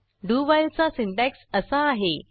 do व्हाईलचा syntax असा आहे